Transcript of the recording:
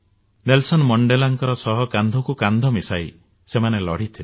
Nelson ମଣ୍ଡେଲାଙ୍କ ସହ କାନ୍ଧକୁ କାନ୍ଧ ମିଶାଇ ସେମାନେ ଲଢ଼ିଥିଲେ